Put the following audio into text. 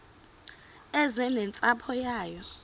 eze nentsapho yayo